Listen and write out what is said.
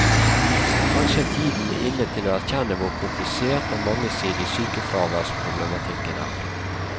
Kanskje er tiden inne til å erkjenne hvor komplisert og mangesidig sykefraværsproblematikken er.